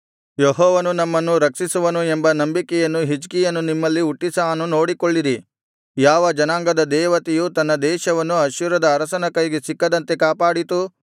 ಯೆಹೋವನು ನಮ್ಮನ್ನು ರಕ್ಷಿಸುವನು ಎಂಬ ನಂಬಿಕೆಯನ್ನು ಹಿಜ್ಕೀಯನು ನಿಮ್ಮಲ್ಲಿ ಹುಟ್ಟಿಸಾನು ನೋಡಿಕೊಳ್ಳಿರಿ ಯಾವ ಜನಾಂಗದ ದೇವತೆಯು ತನ್ನ ದೇಶವನ್ನು ಅಶ್ಶೂರದ ಅರಸನ ಕೈಗೆ ಸಿಕ್ಕದಂತೆ ಕಾಪಾಡಿತು